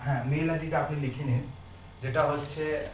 হ্যাঁ mail ID টা আপনি লিখে নিন এটা হচ্ছে